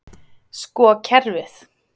Sko kerfið.